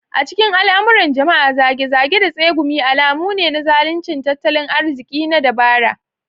A cikin al'amuran jama'a, zage-zage da tsegumi alamu ne na zaluncin tattalin arziki na dabara.